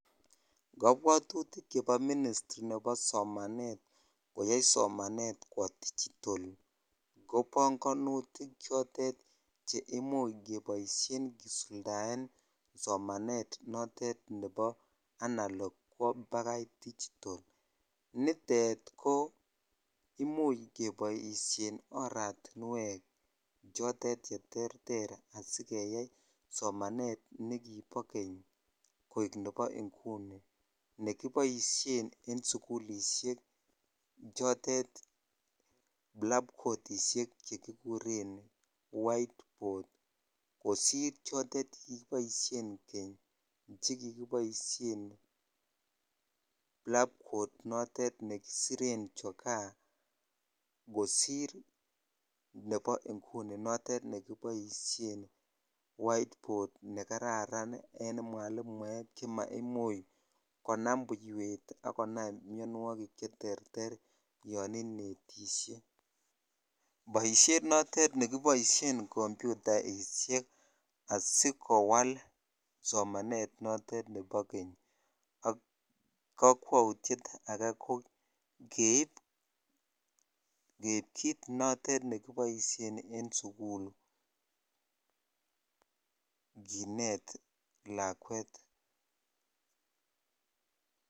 Kabwaturik chebo ministry nebo somanet koyai somanet kwoo digital ko bangonutik chotet che imuch kisuldaen somanet nitet nebo analok kwoo bakai tigital nutet Jo imu h keboisien oratiwek cheterter asikeyai somanet nekibo keny koik nebo inguni nekiboisien en sukulishek chotet blanketishek chotet chekikuren white boot kosir chotet chekikiboisien keny chekikiboisien Blackboot chotet chekikisiret choka kosir nebo inguni notet nekiboisuen whiteboot nekararan en mwalimuek chemaimuch konam buiwet akonam mionwokik cheterter yon inetishe boisiet notet nekiboisien komputaishek asikowal somanet notet nebo keny ak kakwaityet ake ko keib kit notet nekiboisien en sukuk kinet lakwet.